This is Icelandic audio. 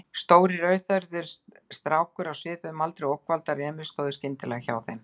Stór, rauðhærður strákur á svipuðum aldri og ógnvaldar Emils stóð skyndilega hjá þeim.